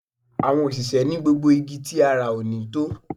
Àwọn òṣìṣẹ́ ni gbogbo igi tí a rà ò ní tó